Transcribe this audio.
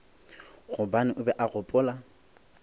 gobane o be a gopola